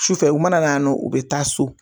Sufɛ u mana na yan nɔ u bɛ taa so.